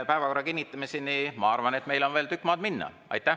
Päevakorra kinnitamiseni, ma arvan, on meil veel tükk maad minna.